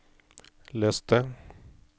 les det